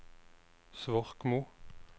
Svorkmo